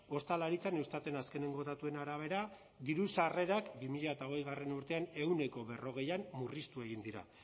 ostalaritzan eustaten azkeneko datuen arabera diru sarrerak bi mila hogeigarrena urtean ehuneko berrogeian murriztu egin dira